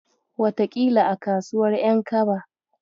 Wataƙila a kasuwar ƴan kaba.